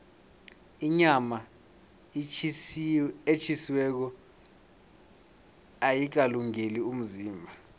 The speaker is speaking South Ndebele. inyama etjhisiweko ayikalungeli umzimba